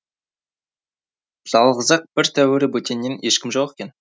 жалғыз ақ бір тәуірі бөтеннен ешкім жоқ екен